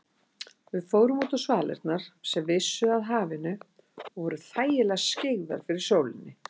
Við fórum útá svalirnar sem vissu að hafinu og voru þægilega skyggðar fyrir sólinni.